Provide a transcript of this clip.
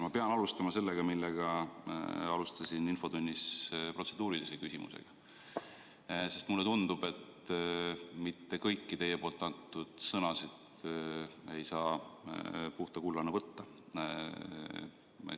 Ma pean alustama selle teemaga, mille kohta esitasin infotunni alguses protseduurilise küsimuse, sest mulle tundub, et mitte kõiki teie öeldud sõnu ei saa puhta kullana võtta.